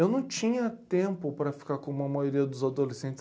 Eu não tinha tempo para ficar como a maioria dos adolescentes.